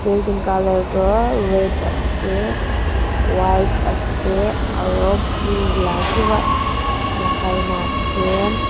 building colour toh red ase white ase aro blue la Kiva lakaina ase.